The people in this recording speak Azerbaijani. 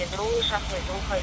Niyə durmuş?